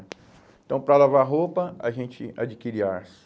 Então, para lavar roupa, a gente adquire arço.